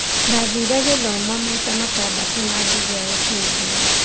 Ndathire gĩthomo maita atandatu na ngĩgĩa uteithio